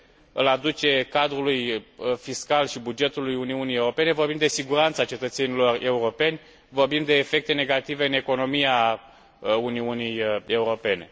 îl aduc cadrului fiscal și bugetului Uniunii Europene, vorbim de siguranța cetățenilor europeni, vorbim de efecte negative în economia Uniunii Europene.